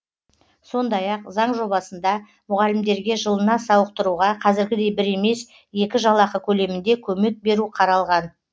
сондай ақ заң жобасында мұғалімдерге жылына сауықтыруға қазіргідей бір емес екі жалақы көлемінде көмек беру қаралған